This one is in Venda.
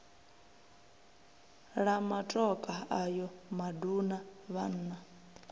la matokha ayo maduna vhanna